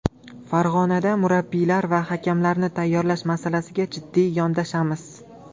Farg‘onada murabbiylar va hakamlarni tayyorlash masalasiga jiddiy yondashamiz.